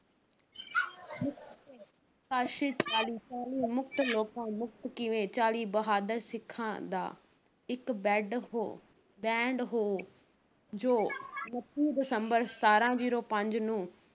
ਚਾਲੀ ਚਾਲੀ ਮੁਕਤ ਲੋਕਾਂ ਮੁਕਤ ਕਿਵੇਂ ਚਾਲੀ ਬਹਾਦਰ ਸਿੱਖਾਂ ਦਾ ਇੱਕ ਬੈਡ ਹੋ band ਹੋ ਜੋ ਉਣੱਤੀ ਦਸੰਬਰ ਸਤਾਰਾਂ zero ਪੰਜ ਨੂੰ